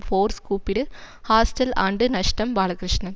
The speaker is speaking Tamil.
ஃபோர்ஸ் கூப்பிடு ஹாஸ்டல் ஆண்டு நஷ்டம் பாலகிருஷ்ணன்